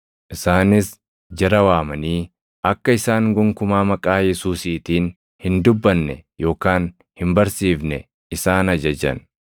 Isaanis jara waamanii akka isaan gonkumaa maqaa Yesuusiitiin hin dubbanne yookaan hin barsiifne isaan ajajan.